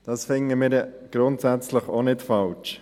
Dies finden wir grundsätzlich auch nicht falsch.